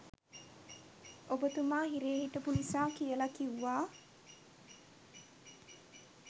ඔබතුමා හිරේ හිටපු නිසා කියලා කිව්වා.